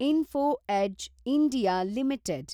info Edge (India) limited